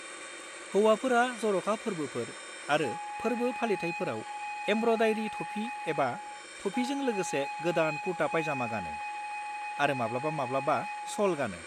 हौवाफोरा जर'खा फोर्बोफोर आरो फोर्बो फालिथायफोराव एमब्रयदारि थफि एबा थफिजों लोगोसे गोदान कुर्ता पायजामा गानो, आरो माब्लाबा-माब्लाबा श'ल गानो।